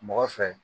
Mɔgɔ fɛ